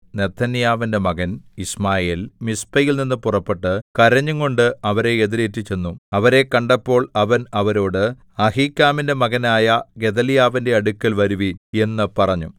നെഥന്യാവിന്റെ മകൻ യിശ്മായേൽ മിസ്പയിൽനിന്നു പുറപ്പെട്ട് കരഞ്ഞുംകൊണ്ട് അവരെ എതിരേറ്റു ചെന്നു അവരെ കണ്ടപ്പോൾ അവൻ അവരോട് അഹീക്കാമിന്റെ മകനായ ഗെദല്യാവിന്റെ അടുക്കൽ വരുവിൻ എന്ന് പറഞ്ഞു